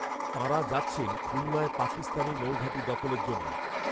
তাঁরা যাচ্ছেন খুলনায় পাকিস্তানি নৌঘাঁটি দখলের জন্য